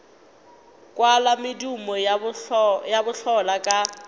kwala medumo ya bohlola ka